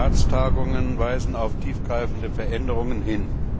Die letzten Ratstagungen weisen auf tiefgreifende Veränderungen hin.